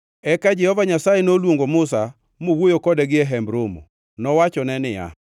Eka Jehova Nyasaye noluongo Musa mowuoyo kode gie Hemb Romo. Nowachone niya,